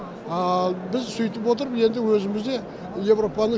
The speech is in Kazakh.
ал біз сөйтіп отырып енді өзімізде еуропаны